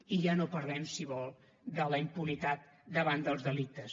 i ja no parlem si vol de la impunitat davant dels delictes